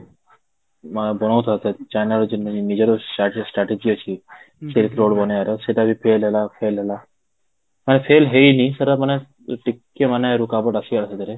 China ର ନିଜର strategy ଅଛି ସେଥିରୁ ବି ଗୋଟେ ମାନେ error, ସେଟା ବି fail ହେଲା fail ହେଲା, ମାନେ fail ହେଇନି ସେଟା ମାନେ ଟିକେ ମାନେ ଆସିଗଲା